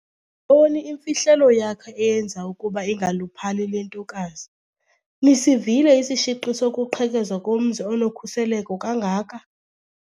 ntoni imfihlelo yakhe eyenza ukuba ingaluphali le ntokazi. nisivile isishiqi sokuqhekezwa komzi onokhuseleko kangaka?